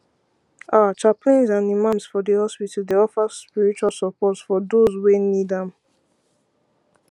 ah chaplains and imams for di hospitals dey offer spiritual support for doze wey need am